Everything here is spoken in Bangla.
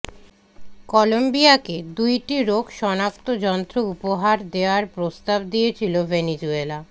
কলম্বিয়াকে দুইটি রোগ শনাক্ত যন্ত্র উপহার দেয়ার প্রস্তাব দিয়েছিল ভেনেজুয়েলা